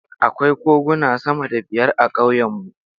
Akwai koguna sama da biyar a ƙauyenmu.